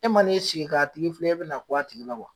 E m'i sigi ka tigi filɛ, e bɛna bɔ a tigi la wa ?